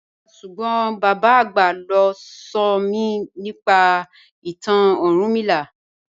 Ràrá súgbọ́n bàbá agbá ló nsọ̀mí nípa ìtàn Orúnmìlà.